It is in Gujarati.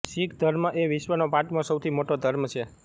શીખ ધર્મ એ વિશ્વનો પાંચમો સૌથી મોટો ધર્મ છે